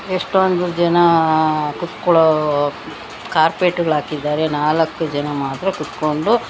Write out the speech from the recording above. ಎಷ್ಟೊಂದು ಜನ ಕೂತುಕೊಳ್ಳೋ ಕಾರ್ಪೆಟ್ ಗಳ ಹಾಕಿದ್ದಾರೆ ನಾಲ್ಕು ಜನ ಮಾತ್ರ ಕೂತ್ಕೊಂಡು--